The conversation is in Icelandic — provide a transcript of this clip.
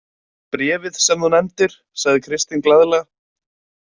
Bréfið sem þú nefndir, sagði Kristín glaðlega.